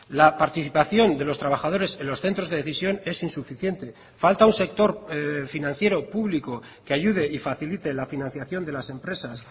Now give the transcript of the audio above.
la participación de los trabajadores en los centros de decisión es insuficiente falta un sector financiero público que ayude y facilite la financiación de las empresas